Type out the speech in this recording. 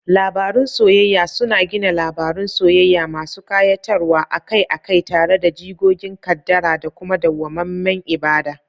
Labarun soyayya suna gina labarun soyayya masu kayatarwa, akai-akai tare da jigogin kaddara da kuma dawwamammen ibada.